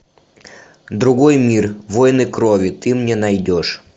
другой мир войны крови ты мне найдешь